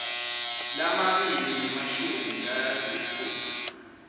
lamabili nemashumi lasitfupha